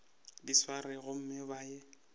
di swerego gomme ba ye